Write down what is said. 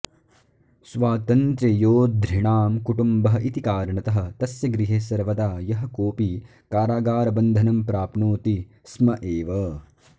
स्वातन्त्र्ययोद्धॄणां कुटुम्बः इति कारणतः तस्य गृहे सर्वदा यः कोऽपि कारागारबन्धनं प्राप्नोति स्म एव